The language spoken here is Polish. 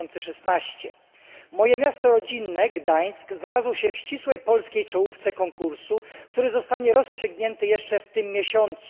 2016. Moje miasto rodzinne Gdańsk znalazło się w ścisłej polskiej czołówce konkursu, który zostanie rozstrzygnięty jeszcze w tym miesiącu.